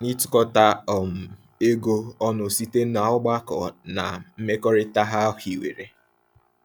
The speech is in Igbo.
n'ịtukọta um ego ọnụ site n'ọgbakọ na mmekọrịta ha hiwere.